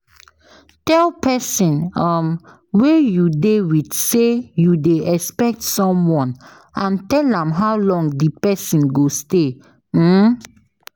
Tell persin um wey you de with say you de expect someone and tell am how long di persin go stay um